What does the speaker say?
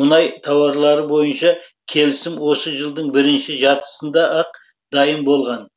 мұнай тауарлары бойынша келісім осы жылдың бірінші жартысында ақ дайын болған